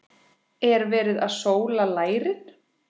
Er verið að sóla lærin?